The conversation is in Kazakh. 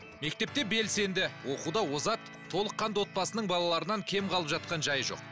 мектепте белсенді оқуда озат толыққанды отбасының балаларынан кем қалып жатқан жайы жоқ